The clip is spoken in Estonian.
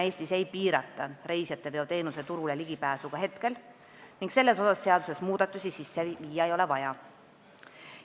Eestis ei piirata reisijateveoteenuse turule ligipääsu ka praegu ning sellesse seaduses muudatusi teha ei ole vaja.